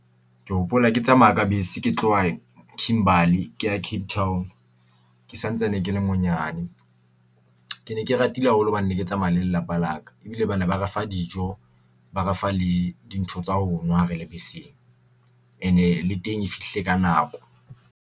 Ke hopola ke tsamaya ka bese ke tloha Kimberly, kea Cape Town. Ke santsane ke le monyane, Ke ne ke ratile haholo hobane neke tsamaea le lelapa la ka. Ebile bana ba re fa dijo ba re fa le dintho tsa ho nwa re le beseng, and-e le teng e fihlile ka nako.